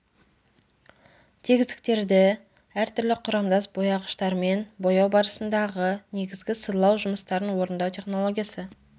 тегістіктерді әртүрлі құрамдас бояғыштармен бояу барысындағы негізгі сырлау жұмыстарын орындау технологиясы